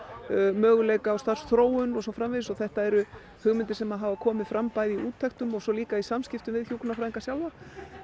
möguleika á starfsþróun og svo framvegis þetta eru hugmyndir sem hafa komið fram bæði í úttektum og svo líka í samskiptum við hjúkrunarfræðinga sjálfa